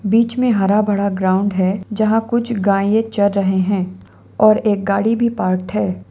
बीच में हरा भरा ग्राउंड है जहां कुछ गाये चर रहे हैं और एक गाड़ी भी पार्क्ड है।